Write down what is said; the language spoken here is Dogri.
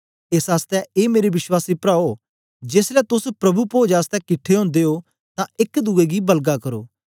एस आसतै ए मेरे विश्वासी प्राओ जेसलै तोस प्रभु पोज आसतै किट्ठे ओदे ओ तां एक दुए गी बलगा करो